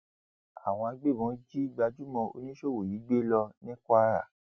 àwọn agbébọn jí gbajúmọ oníṣòwò yìí gbé lọ ní kwara